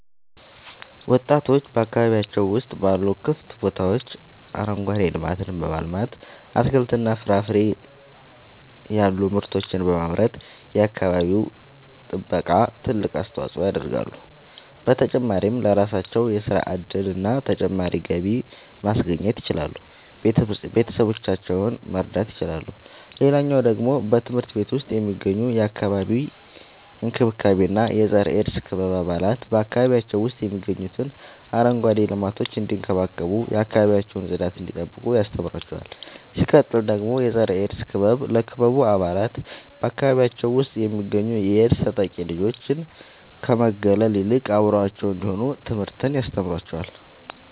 ወጣቶች በአካባቢያቸው ውስጥ ባሉ ክፍት ቦታዎች አረንጓዴ ልማትን በማልማት አትክልትና ፍራፍሬ ያሉ ምርቶችን በማምረት የአካባቢው ጥበቃ ትልቅ አስተዋጽኦ ያደርጋሉ። በተጨማሪም ለራሳቸው የሥራ እድልና ተጨማሪ ገቢ ማስገኘት ይችላሉ ቤተሰቦቻቸውን መርዳት ይችላሉ። ሌላኛው ደግሞ በትምህርት ቤት ውስጥ የሚገኙ የአካባቢ እንክብካቤ እና የፀረ -ኤድስ ክበብ አባላት በአካባቢያቸው ውስጥ የሚገኙትን አረንጓዴ ልማቶች እንዲንከባከቡ የአካባቢያቸውን ጽዳት እንዲጠብቁ ያስተምሯቸዋል። ሲቀጥል ደግሞ የፀረ-ኤድስ ክበብ ለክበቡ አባላት በአካባቢያቸው ውስጥ የሚገኙ የኤድስ ተጠቂ ልጆችን ከመግለል ይልቅ አብረዋቸው እንዲሆኑ ትምህርትን ያስተምራቸዋል።